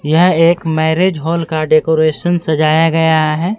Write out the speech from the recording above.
यह एक marriage hall का डेकोरेशन सजाया गया है।